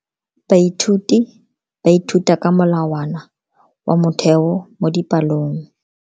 Baithuti ba ithuta ka molawana wa motheo mo dipalong.